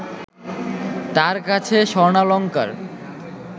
তার কাছে স্বর্ণালঙ্কার